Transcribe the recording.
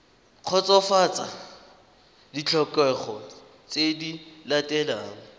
kgotsofatsa ditlhokego tse di latelang